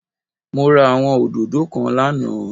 Mo ra àwọn òdòdó kan lánàâ